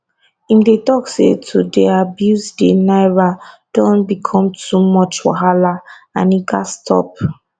im dey tok say to dey abuse di naira don become too much wahala and e gatz stop